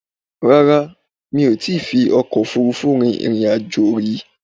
Rárá, mí ò ti fi ọkò òfurufú rin ìrìn àjò ri